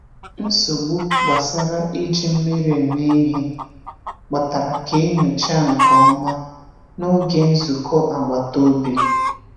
Nsogbu gbasara iji mmiri eme ihe kpatara ka e nyochaa nke ọma n’oge nzukọ agbata obi.